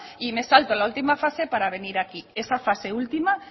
y me salto la última fase para venir aquí esa fase última